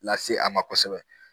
Lase a ma kosɛbɛ